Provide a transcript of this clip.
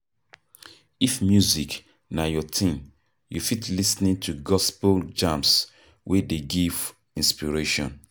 If music na your thing, you fit lis ten to gospel jams wey dey give inspiration